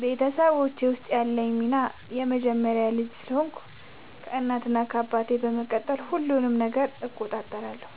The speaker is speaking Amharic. በቤተሰቦቼ ውስጥ ያለኝ ሚና የመጀመሪያ ልጅ ስለሆንኩ ከእናት እና አባቴ በመቀጠል ሁሉንም ነገር እቆጣጠራለሁ።